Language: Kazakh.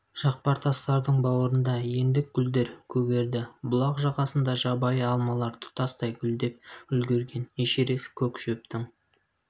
жақпар тастардың бауырында ендік гүлдер көгерді бұлақ жағасында жабайы алмалар тұтастай гүлдеп үлгерген эшерест көк шөптің